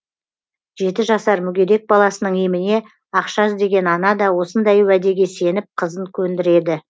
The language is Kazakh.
жеті жасар мүгедек баласының еміне ақша іздеген ана да осындай уәдеге сеніп қызын көндіреді